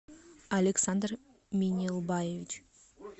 александр минелбаевич